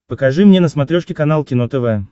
покажи мне на смотрешке канал кино тв